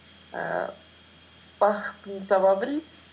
ііі бақытыңды таба біл